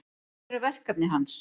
Hver eru verkefni hans?